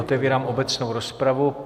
Otevírám obecnou rozpravu.